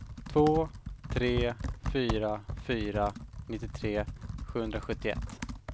två tre fyra fyra nittiotre sjuhundrasjuttioett